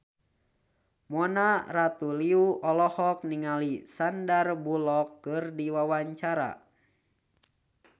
Mona Ratuliu olohok ningali Sandar Bullock keur diwawancara